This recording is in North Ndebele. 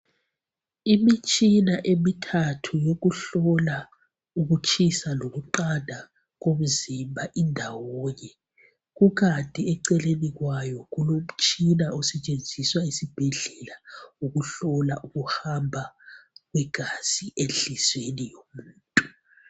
Imitshina emithathu yokuhlola ukutshisa lokuqanda komzimba indawonye kukanti eceleni kwayo kulomtshina osetshenziswa esibhedlela ukuhlola ukuhamba kwegazi enhlizwiyeni yomuntu.